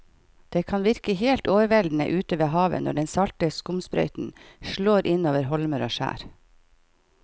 Det kan virke helt overveldende ute ved havet når den salte skumsprøyten slår innover holmer og skjær.